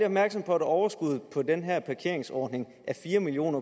opmærksom på at overskuddet på den her parkeringsordning er fire million